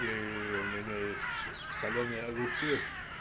и у меня есть солёные огурцы